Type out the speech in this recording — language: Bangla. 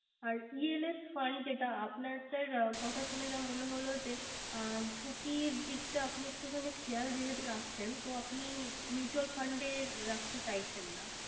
আর ELF fund যেটা আর আপনার কথা শুনে যা মনে হলো যে ঝুকির দিকটা একটু খানি খেয়াল যেহেতু রাখছেন তো Mutual fund রাখতে চাইছেন না